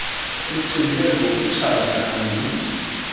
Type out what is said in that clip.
sicinge ngokutshata andithi